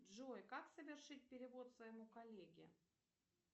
джой как совершить перевод своему коллеге